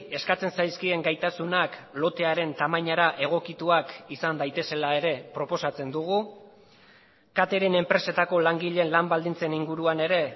eskatzen zaizkien gaitasunak lotearen tamainara egokituak izan daitezela ere proposatzen dugu catering enpresetako langileen lan baldintzen inguruan ere